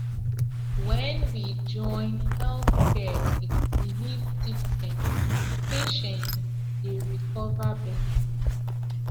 when we join health care with belief system patients dey recover better